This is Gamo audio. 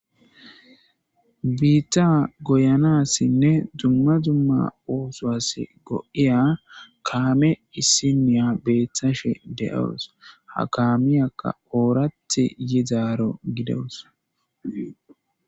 Bita goyanasinne duma duma osuwas go'iya kame issiniya betashe de'awus ha kamiyaka orati yidaro gidawus.